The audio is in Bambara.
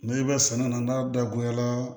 N'i bɛ sɛnɛ na n'a dagoyara